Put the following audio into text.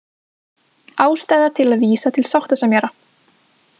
Ástæða til að vísa til sáttasemjara